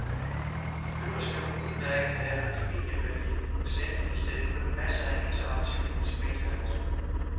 Øverst kan man udmærket have en familievenlig museumsudstilling med masser af interaktivt multimediehalløj.